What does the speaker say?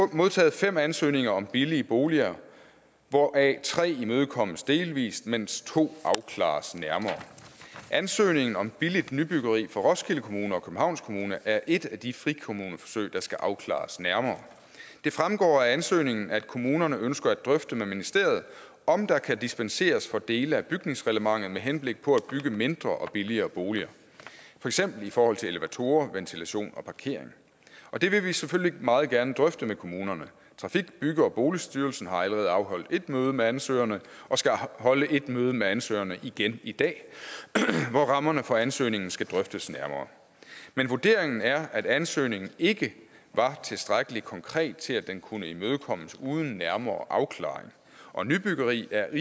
modtaget fem ansøgninger om billige boliger hvoraf tre imødekommes delvis mens to afklares nærmere ansøgningen om billigt nybyggeri fra roskilde kommune og københavns kommune er et af de frikommuneforsøg der skal afklares nærmere det fremgår af ansøgningen at kommunerne ønsker at drøfte med ministeriet om der kan dispenseres fra dele af bygningsreglementet med henblik på at bygge mindre og billigere boliger for eksempel i forhold til elevatorer ventilation og parkering og det vil vi selvfølgelig meget gerne drøfte med kommunerne trafik bygge og boligstyrelsen har allerede afholdt et møde med ansøgerne og skal holde et møde med ansøgerne igen i dag hvor rammerne for ansøgningen skal drøftes nærmere men vurderingen er at ansøgningen ikke var tilstrækkelig konkret til at den kunne imødekommes uden nærmere afklaring og nybyggeri er